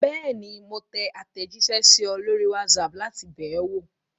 Bẹ́ẹ̀ni, mo tẹ àtẹ̀jíṣẹ́ sí ọ lórí WhatsApp láti bẹ̀ ọ́ wò.